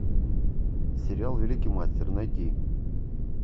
сериал великий мастер найти